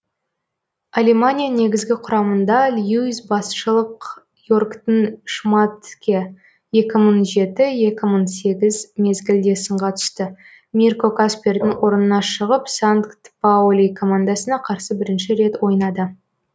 алемания негізгі құрамында льюис басшылық йоргтің шмадтке екі мың жеті екі мың сегіз мезгілде сынға түсті мирко каспердың орнына шығып санкт паули командасына қарсы бірінші рет ойнады